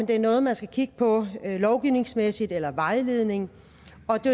det er noget man skal kigge på lovgivningsmæssigt eller vejledning